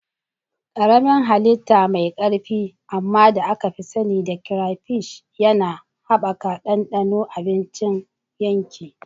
Karamin hallita mai ƙarfi amma da aka sani da crayfish yana haɓaka ɗanɗanon abincin yanki.